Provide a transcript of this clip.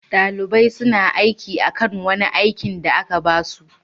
Dalibain suna aiki akan wani aikin da aka ba su.